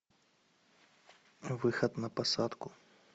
выход на посадку